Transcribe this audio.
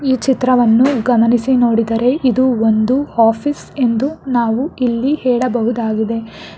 ಈ ಚಿತ್ರವನ್ನು ಗಮನಿಸಿ ನೋಡಿದರೆ ಇದು ಒಂದು ಆಫೀಸ್ ಎಂದು ನಾವು ಇಲ್ಲಿ ಹೇಳಬಹುದಾಗಿದೆ.